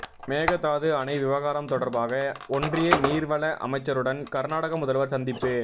மேகதாது அணை விவகாரம் தொடர்பாக ஒன்றிய நீர்வள அமைச்சருடன் கர்நாடக முதல்வர் சந்திப்பு